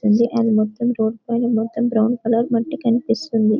తుంది అది మొత్తం రోడ్ పైన మొత్తం బ్రౌన్ కలర్ మట్టి కనిపిస్తుంది.